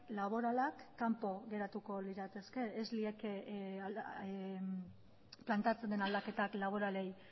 laboralak kanpo geratuko lirateke ez lieke planteatzen den aldaketak laboralei